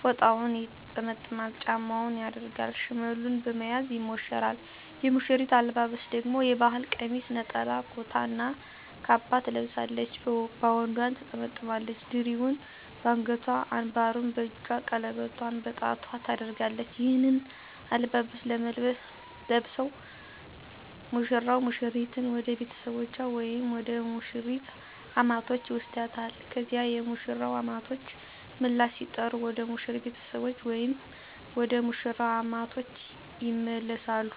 ፎጣውን ይጠመጥማል፤ ጫማውን ያደርጋል፤ ሽመሉን በመያዝ ይሞሸራል። የሙሽሪት አለባበስ ደግሞ የባህል ቀሚስ፣ ነጠላ ኩታ እና ካባ ትለብሳለች፤ ባውንዷን ትጠመጥማለች፣ ድሪውን በአንገቷ፣ አንባሩን በእጇ፣ ቀለበቷን በጣቷ ታደርጋለች። ይህንን አለባበስ ለብሰው ሙሽራው ሙሽሪትን ወደ ቤተሰቦቹ ወይም ወደ ሙሽሪት አማቶች ይወስዳታል። ከዚያ የሙሽራው አማቶች ምላሽ ሲጠሩ ወደ ሙሽሪት ቤተሰቦች ወይም ወደ መሽራው አማቶች ይመለሳሉ።